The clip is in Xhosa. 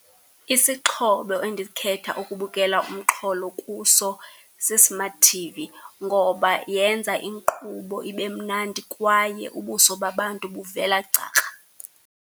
Isixhobo endikhetha ukubukela umxholo kuso si-smart T_V ngoba yenza inkqubo ibe mnandi kwaye ubuso babantu buvela gcakra.